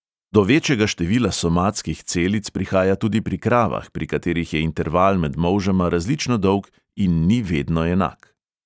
Do večjega števila somatskih celic prihaja tudi pri kravah, pri katerih je interval med molžama različno dolg in ni vedno enak.